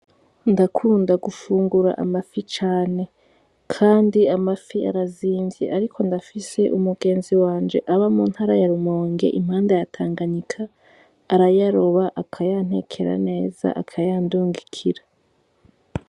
Ndakunda gufungura amafi cane, kandi amafi arazimvye, ariko ndafise umugenzi wanje aba mu ntara yarumonge impande yatanganyika arayaroba akayantekera neza akaya ndungikira.